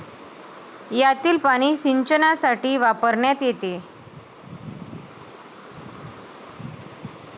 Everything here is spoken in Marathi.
यातील पाणी सिंचनासाठी वापरण्यात येते